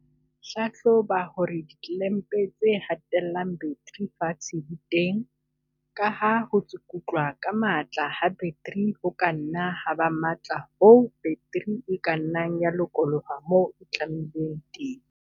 Hlahloba hore ditlelempe tse hatellang battery fatshe di teng, ka ha ho tsukutlwa ka matla ha battery ho ka nna ha ba matla hoo battery e ka nnang ya lokoloha moo e tlamilweng teng.